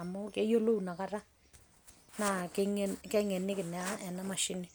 amu keyiolou inakata, na keng'eniki naa enamashini.